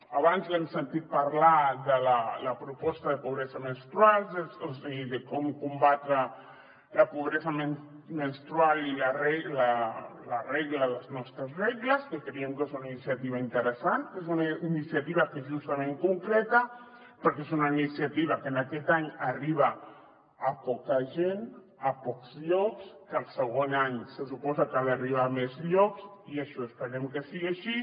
abans l’hem sentit parlar de la proposta de pobresa menstrual i de com combatre la pobresa menstrual i la regla les nostres regles que creiem que és una iniciativa interessant que és una iniciativa que justament concreta però és una iniciativa que aquest any arriba a poca gent a pocs llocs que el segon any se suposa que ha d’arribar a més llocs i això esperem que sigui així